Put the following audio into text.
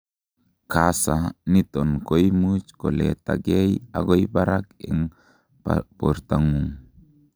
kasa niton koimuch koletagei agoi barak en bortangung